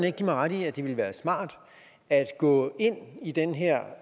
ikke give mig ret i at det ville være smart at gå ind i den her